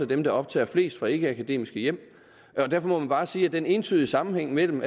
dem der optager flest fra ikkeakademiske hjem derfor må man bare sige at den entydige sammenhæng mellem